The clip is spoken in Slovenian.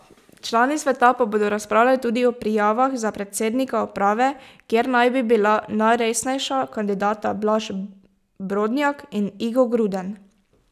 Člani sveta pa bodo razpravljali tudi o prijavah za predsednika uprave, kjer naj bi bila najresnejša kandidata Blaž Brodnjak in Igo Gruden.